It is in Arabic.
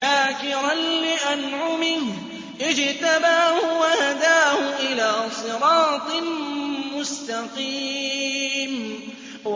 شَاكِرًا لِّأَنْعُمِهِ ۚ اجْتَبَاهُ وَهَدَاهُ إِلَىٰ صِرَاطٍ مُّسْتَقِيمٍ